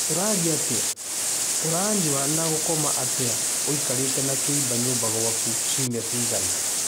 Ũrarĩa atĩa, ũranyua na gũkoma atĩa ũikarĩte na kĩimba nyũmba gwaku ciumia cigana ũna?